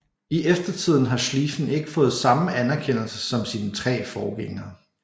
I eftertiden har Schlieffen ikke fået samme anerkendelse som sine tre forgængere